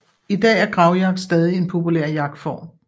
I dag er gravjagt stadig en populær jagtform